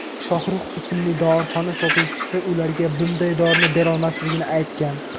Shohrux ismli dorixona sotuvchisi ularga bunday dorini berolmasligini aytgan.